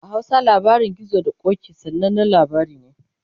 a Hausa labarin gizo da ƙoki, sananan labari ne